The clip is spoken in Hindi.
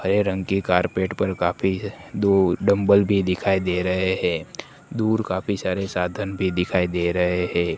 हरे रंग के कार्पेट पर काफी दूर डंबल भी दिख रहे है दूर काफी सारे साधन भी दिखाई दे रहे है।